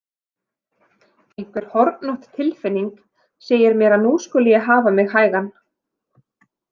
Einhver hornótt tilfinning segir mér að nú skuli ég hafa mig hægan.